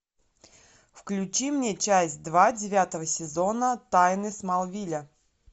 включи мне часть два девятого сезона тайны смолвиля